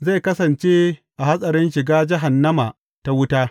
Zai kasance a hatsarin shiga jahannama ta wuta.